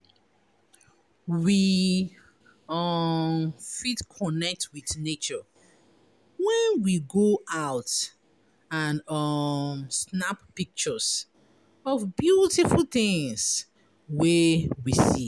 We um fit connect with nature when we go out and um snap pictures of beautiful things wey we see